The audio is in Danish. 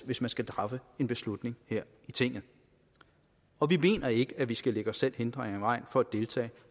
hvis man skal træffe en beslutning her i tinget og vi mener ikke at vi skal lægge os selv hindringer i vejen for at deltage